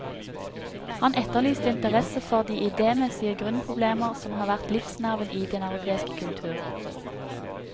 Han etterlyste interesse for de idémessige grunnproblemer som har vært livsnerven i den europeiske kultur.